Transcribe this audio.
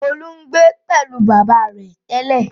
Olú ń gbé pẹ̀lú bàbá rẹ̀ tẹ́lẹ̀?